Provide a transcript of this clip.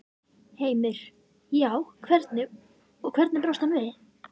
Heimir: Já, hvernig, og hvernig brást hann við?